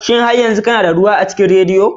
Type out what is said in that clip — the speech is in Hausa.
Shin har yanzu kana da ruwa a cikin radiyon ki?